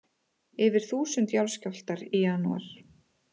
Yfir þúsund jarðskjálftar í janúar